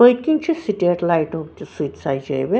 .پٔتۍکِنۍچھ state لایٹُک تہِ سۆچ سجٲوِتھ